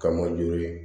Ka mɔ jo ye